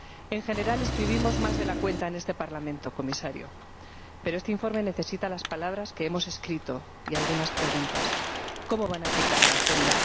En general, escribimos más de la cuenta en este Parlamento, Comisario, pero este informe necesita las palabras que hemos escrito y algunas preguntas ¿Cómo van a aplicar la agenda?